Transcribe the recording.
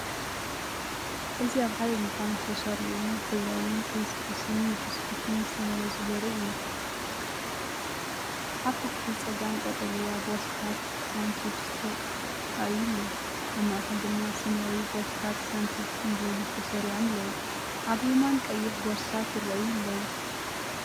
እዚ ኣብ ሓደ ድኳን ዝተሰርዑ ሕብራዊ ክሪስፕስን ቢስኩትን ዝተመርጹ ዘርኢ እዩ። ኣብ ታሕቲ ጸጋም ቀጠልያ ቦርሳታት ሳን ቺፕስ ተራእዩ ኣሎ። ኣብ ማእከል ድማ ሰማያዊ ቦርሳታት ሳን ቺፕስ ብብዝሒ ተሰሪዖም ኣለዉ። ኣብ የማን ቀይሕ ቦርሳታት ይራኣዩ ኣለው።